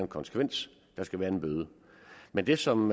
konsekvens der skal være en bøde men det som